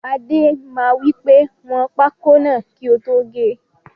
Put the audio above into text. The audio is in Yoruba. Adé máa wípé 'wọn pákó náà kì o tó gé'